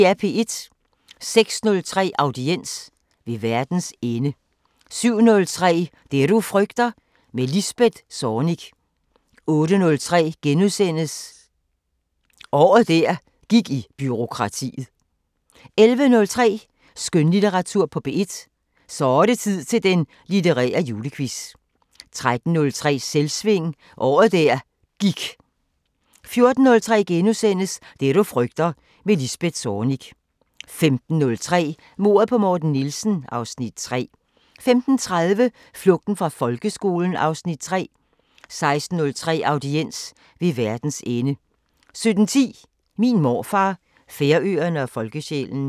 06:03: Audiens: Ved verdens ende 07:03: Det du frygter – med Lisbeth Zornig 08:03: Året der gik i bureaukratiet * 11:03: Skønlitteratur på P1: Så' det tid til den litterære julequiz 13:03: Selvsving – året der gik 14:03: Det du frygter – med Lisbeth Zornig * 15:03: Mordet på Morten Nielsen (Afs. 3) 15:30: Flugten fra folkeskolen (Afs. 3) 16:03: Audiens: Ved verdens ende 17:10: Min morfar, Færøerne og folkesjælen